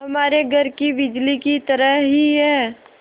हमारे घर की बिजली की तरह ही है